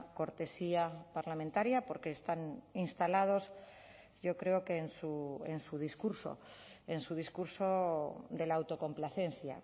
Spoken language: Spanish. cortesía parlamentaria porque están instalados yo creo que en su discurso en su discurso de la autocomplacencia